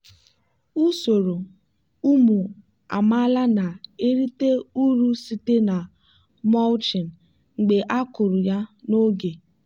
usoro ụmụ amaala na-erite uru site na mulching mgbe a kụrụ ya n'oge.